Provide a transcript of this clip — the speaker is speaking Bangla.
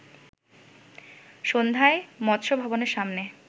সন্ধ্যায় মৎস্য ভবনের সামনে